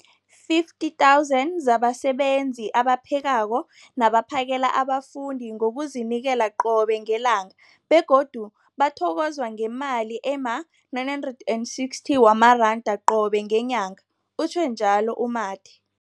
50 000 zabasebenzi abaphekako nabaphakela abafundi ngokuzinikela qobe ngelanga, begodu bathokozwa ngemali ema-960 wamaranda qobe ngenyanga, utjhwe njalo u-Mathe.